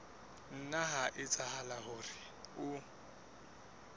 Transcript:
nna ha etsahala hore o